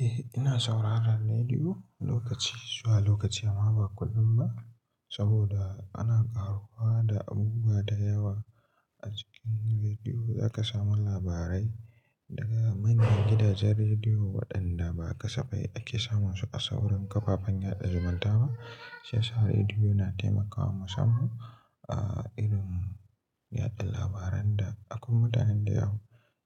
Eh, ina sauraron rediyo lokaci zuwa lokaci amma ba kullum ba. Saboda ana ƙaruwa da abubuwa da yawa a cikin rediyo, zaka samu labarai daga manyan gidajen rediyo waɗanda ba kasafai ake samun su a sauran kafafen yaɗa zumunta ba. Sai sauraron rediyo na taimaka wa musam, ah, irin yaɗa labaran da akwai mutanen da yawa